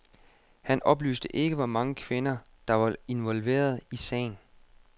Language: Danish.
Han oplyste ikke, hvor mange kvinder, der var involveret i sagen.